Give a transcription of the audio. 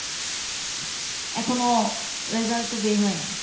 এখনো result বের হয় নাই।